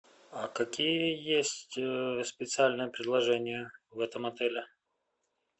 а какие есть специальные предложения в этом отеле